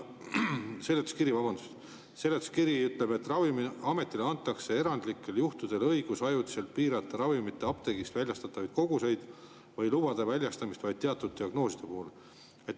Seletuskiri ütleb, et Ravimiametile antakse erandlikel juhtudel õigus ajutiselt piirata apteegist väljastatavaid ravimite koguseid või lubada väljastamist vaid teatud diagnooside puhul.